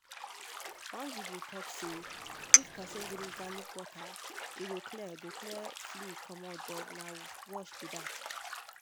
one video talk say if person drink garlic water e go clear go clear flu comot but na wash be that.